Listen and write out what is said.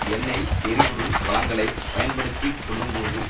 எண்ணெய் எரிபொருள் வளங்களை பயன்படுத்தி கொள்ளும் போது